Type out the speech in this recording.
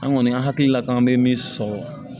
An kɔni an hakilila k'an bɛ min sɔrɔ